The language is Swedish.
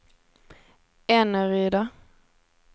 Eneryda